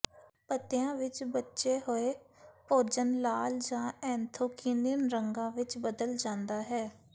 ਪੱਤਿਆਂ ਵਿੱਚ ਬਚੇ ਹੋਏ ਭੋਜਨ ਲਾਲ ਜਾਂ ਐਂਥੋਕਯਿਨਿਨ ਰੰਗਾਂ ਵਿੱਚ ਬਦਲ ਜਾਂਦਾ ਹੈ